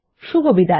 শুভবিদায়